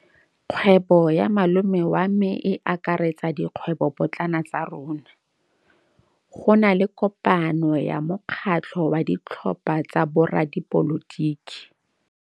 Kgwêbô ya malome wa me e akaretsa dikgwêbôpotlana tsa rona. Go na le kopanô ya mokgatlhô wa ditlhopha tsa boradipolotiki.